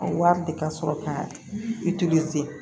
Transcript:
A wari de ka sɔrɔ ka